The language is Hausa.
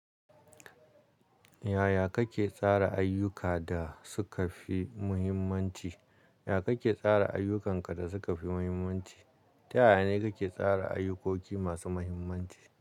Yaya kake tsara ayyuka da suka fi muhimmanci? Yaya kake tsara ayyukanka da suka fi muhimmanci? Ta yaya ne kake tsara ayyukoki masu muhimmanci?